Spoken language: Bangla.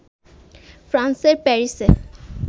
ফ্রান্সের প্যারিসে